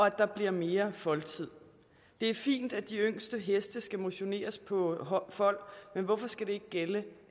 at der bliver mere foldtid det er fint at de yngste heste skal motioneres på fold men hvorfor skal det ikke gælde